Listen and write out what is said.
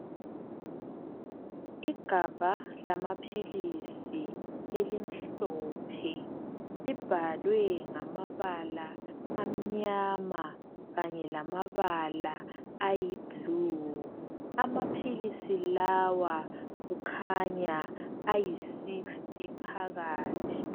Igabha lamaphilisi elimhlophe libhalwe ngamabala amnyama kanye lamabala ayi"blue" amaphilisi lawa kukhanya ayi"sixty" phakathi.